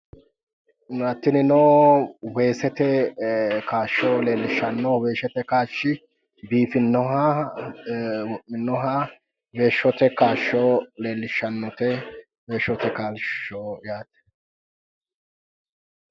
tinino ee weesete kaashsho leellishshanno weesete kaashshi biifinnoha ee wo'minoha weesete kaashsho leellishshanote weesete kaashsho yaate.